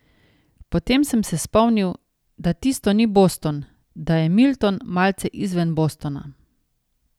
Potem sem se spomnil, da tisto ni Boston, da je Milton, malce izven Bostona.